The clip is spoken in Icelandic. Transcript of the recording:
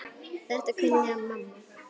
Þetta kunni mamma.